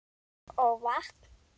Og vatn.